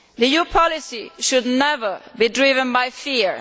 EU policy should never be driven by fear.